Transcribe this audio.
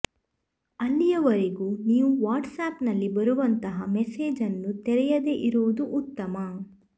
ಅಲ್ಲಿಯವರೆಗೂ ನೀವು ವಾಟ್ಸ್ಆಪ್ನಲ್ಲಿ ಬರುವಂತಹ ಮೇಸೆಜ್ ಅನ್ನು ತೆರೆಯದೆ ಇರುವುದು ಉತ್ತಮ